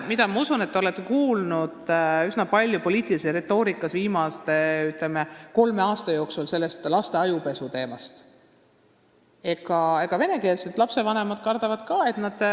Ma usun, et te olete laste ajupesu teemast viimase kolme aasta jooksul poliitilises retoorikas üsna palju kuulnud.